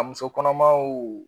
musokɔnɔmaw